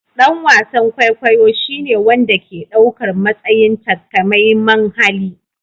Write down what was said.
Dan wasan kwaikwayo shine wanda ke ɗaukar matsayin takamaiman hali